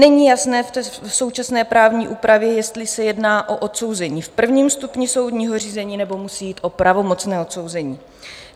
Není jasné v současné právní úpravě, jestli se jedná o odsouzení v prvním stupni soudního řízení, nebo musí jít o pravomocné odsouzení.